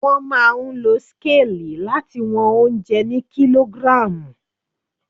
Wọ́n máa ń lo scale láti wọn oúnjẹ ni kilogram.